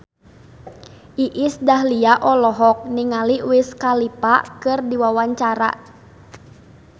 Iis Dahlia olohok ningali Wiz Khalifa keur diwawancara